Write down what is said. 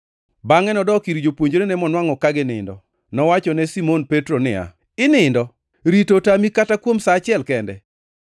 Bangʼe nodok ir jopuonjrene monwangʼo ka ginindo. Nowachone Simon Petro niya, “Inindo? Rito otami kata kuom sa achiel kende?